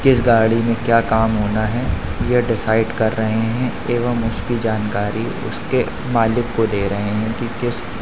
किस गाड़ी में क्या काम होना है ये डिसाइड कर रहे हैं एवं उसकी जानकारी उसके मालिक को दे रहे हैं कि किस --